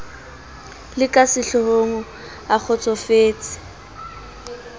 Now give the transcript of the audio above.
le ka sehlohong a kgotsofetse